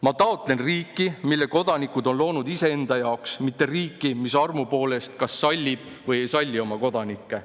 "Ma taotlen riiki, mille Kodanikud on loonud iseenda jaoks, mitte riiki, mis armu poolest kas sallib või ei salli oma Kodanikke.